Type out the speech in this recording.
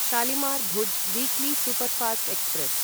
Shalimar Bhuj weekly superfast express